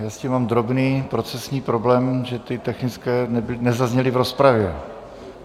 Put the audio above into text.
Já s tím mám drobný procesní problém, že ty technické nezazněly v rozpravě.